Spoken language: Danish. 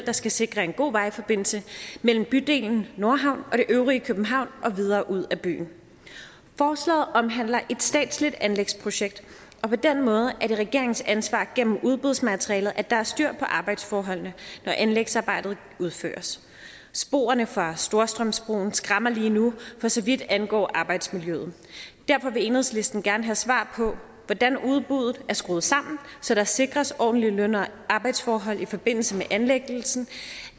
der skal sikre en god vejforbindelse mellem bydelen nordhavn og det øvrige københavn og videre ud af byen forslaget omhandler et statsligt anlægsprojekt og på den måde er det regeringens ansvar gennem udbudsmaterialet at der er styr på arbejdsforholdene når anlægsarbejdet udføres sporene fra storstrømsbroen skræmmer lige nu for så vidt angår arbejdsmiljøet derfor vil enhedslisten gerne have svar på hvordan udbuddet er skruet sammen så der sikres ordentlige løn og arbejdsforhold i forbindelse med anlæggelsen